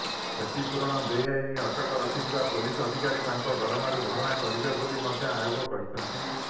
କ୍ଷତିପୂରଣ ବେଆଇନ ଅଟକ ରଖିଥିବା ପୋଲିସ ଅଧିକାରୀ ତାଙ୍କ ଦରମାରୁ ଭରଣା କରିବେ ବୋଲି ମଧ୍ୟ ଆୟୋଗ କହିଛନ୍ତି